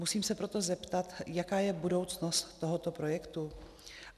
Musím se proto zeptat, jaká je budoucnost tohoto projektu.